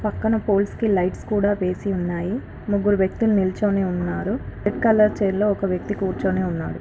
పక్కన ఫోల్స్ కి లైట్స్ కూడా వేసి ఉన్నాయి. ముగ్గురు వ్యక్తులు నిల్చోనే ఉన్నారు. వెనకాల కుర్చీలో ఒక వ్యక్తి కూర్చొని ఉన్నాడు.